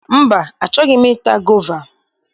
Mba, achọghi m i ta gova.